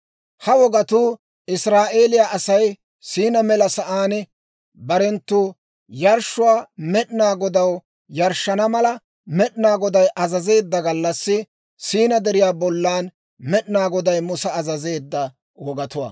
Ha wogatuu Israa'eeliyaa Asay Siinaa mela sa'aan barenttu yarshshuwaa Med'inaa Godaw yarshshana mala Med'inaa Goday azazeedda gallassi, Siinaa Deriyaa bollan Med'inaa Goday Musa azazeedda wogatuwaa.